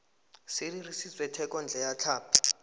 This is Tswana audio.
se dirisitswe thekontle ya tlhapi